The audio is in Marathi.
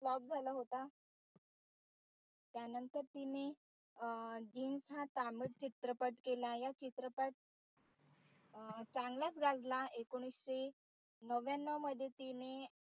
flop झाला होता त्यानंतर तिने जिनता हा तामिळ चित्रपट केला. या चित्रपट चांगलाच गाजला एकोणीशे नव्याणव मध्ये तिने